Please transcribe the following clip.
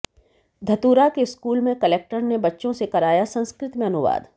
धतूरा के स्कूल में कलेक्टर ने बच्चों से कराया संस्कृत में अनुवाद